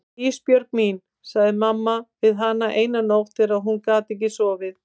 Ísbjörg mín, sagði mamma við hana eina nótt þegar hún gat ekki sofið.